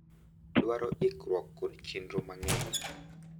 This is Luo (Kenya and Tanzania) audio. dwaro iikruok kod chenro mang’eny.